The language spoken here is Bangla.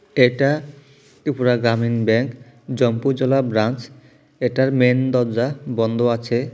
এইটা ত্রিপুরা গ্রামীণ ব্যাংক জম্পুজলা ব্রাঞ্চ এটার মেন দরজা বন্দ আছে।